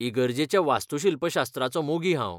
इगर्जेच्या वास्तुशिल्पशास्त्राचो मोगी हांव.